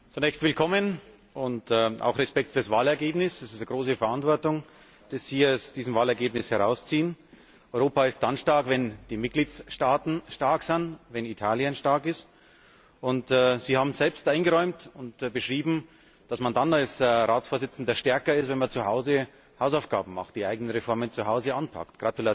Zunächst willkommen und auch Respekt für das Wahlergebnis. Es ist eine große Verantwortung, die Sie aus diesem Wahlergebnis herausziehen. Europa ist dann stark, wenn die Mitgliedstaaten stark sind, wenn Italien stark ist. Sie haben selbst eingeräumt und beschrieben, dass man dann als Ratsvorsitzender stärker ist, wenn man zuhause seine Hausaufgaben macht, die eigenen Reformen zuhause anpackt.